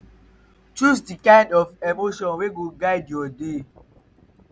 choose di kind of emotions wey go guide yur day.